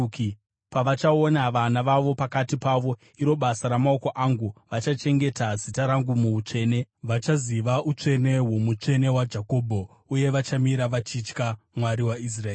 Pavachaona vana vavo pakati pavo, iro basa ramaoko angu, vachachengeta zita rangu muutsvene; vachaziva utsvene hwoMutsvene waJakobho, uye vachamira vachitya Mwari waIsraeri.